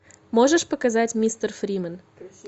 можешь показать мистер фриман